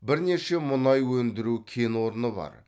бірнеше мұнай өндіру кен орны бар